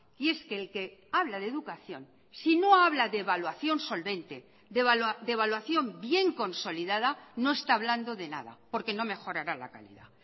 y es que el que habla de educación si no habla de evaluación solvente de evaluación bien consolidada no está hablando de nada porque no mejorará la calidad